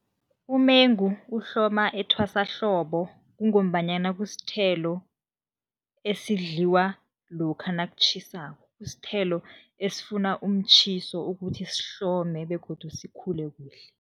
Umengu uhloma ethwasahlobo kungombanyana kusithelo esidliwa lokha nakutjhisako, kusithelo esifuna umtjhiso ukuthi sihlome begodu sikhule kuhle.